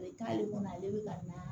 k'ale kɔnɔ ale bɛ ka na